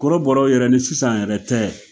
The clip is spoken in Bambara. Korobɔra yɛrɛ ni sisan yɛrɛ tɛ